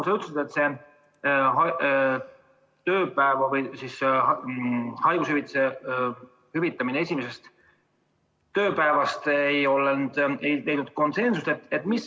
Sa ütlesid, et haiguspäevade hüvitamine esimesest haiguspäevast alates ei ole leidnud konsensust.